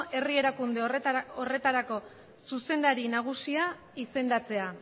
herri erakunde horretarako zuzendari nagusia izendatzea